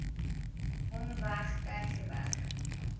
hom weg tygerberg